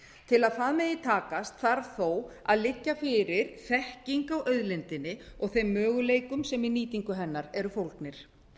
til að það megi takast þarf þó að liggja fyrir þekking á auðlindinni og þeim möguleikum sem í nýtingu hennar eru fólgnir